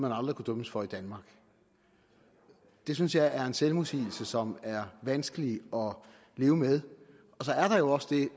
aldrig kunne dømmes for i danmark det synes jeg er en selvmodsigelse som er vanskelig at leve med